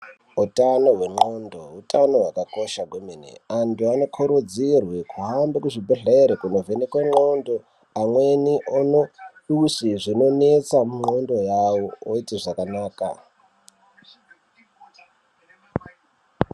Utano wendxondo utano hwakanaka kwemene antu anokurudzirwe kuhambe kuzvibhedhlere kuvhenekwe ndxondo yawo amweni ono usi zvinonesa ndxondo yawo oite zvakanaka.